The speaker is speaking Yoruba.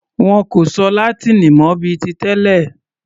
Wọn kò sọ Látíìnì mọ bíi ti tẹlẹ̀.